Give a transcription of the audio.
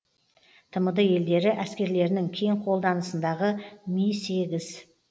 тмд елдері әскерлерінің кең қолданысындағы ми сегіз